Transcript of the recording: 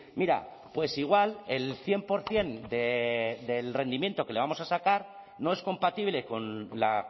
mira pues igual el cien por ciento del rendimiento que le vamos a sacar no es compatible con la